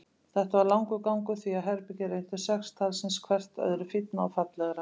Þetta var langur gangur, því að herbergin reyndust sex talsins, hvert öðru fínna og fallegra.